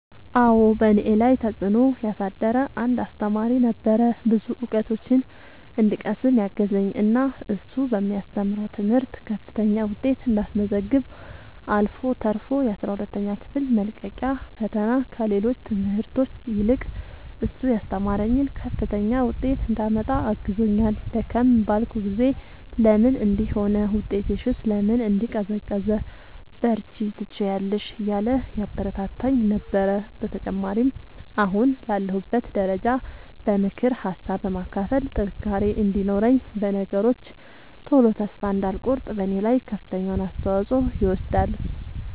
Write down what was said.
አዎ በእኔ ላይ ተፅእኖ ያሳደረ አንድ አሰተማሪ ነበረ። ብዙ እውቀቶችን እንድቀስም ያገዘኝ እና እሱ በሚያስተምረው ትምህርት ከፍተኛ ውጤት እንዳስመዘግብ አልፎ ተርፎ የአስራ ሁለተኛ ክፍል መልቀቂያ ፈተና ከሌሎች ትምህርቶች ይልቅ እሱ ያስተማረኝን ከፍተኛ ውጤት እንዳመጣ አግዞኛል። ደከም ባልኩ ጊዜ ለምን እንዲህ ሆነ ውጤትሽስ ለምን እንዲህ ቀዘቀዘ በርቺ ትችያለሽ እያለ ያበረታታኝ ነበረ። በተጨማሪም አሁን ላለሁበት ደረጃ በምክር ሀሳብ በማካፈል ጥንካሬ እንዲኖረኝ በነገሮች ቶሎ ተስፋ እንዳልቆርጥ በኔ ላይ ከፍተኛውን አስተዋፅኦ ይወስዳል።